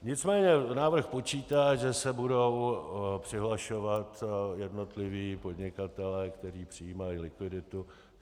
Nicméně návrh počítá, že se budou přihlašovat jednotliví podnikatelé, kteří přijímají likviditu.